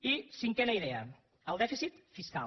i cinquena idea el dèficit fiscal